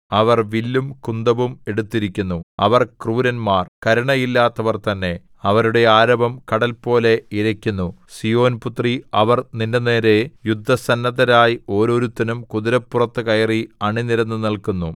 അവർ വില്ലും കുന്തവും എടുത്തിരിക്കുന്നു അവർ ക്രൂരന്മാർ കരുണയില്ലാത്തവർ തന്നെ അവരുടെ ആരവം കടൽപോലെ ഇരയ്ക്കുന്നു സീയോൻ പുത്രീ അവർ നിന്റെനേരെ യുദ്ധസന്നദ്ധരായി ഓരോരുത്തനും കുതിരപ്പുറത്തു കയറി അണിനിരന്നു നില്ക്കുന്നു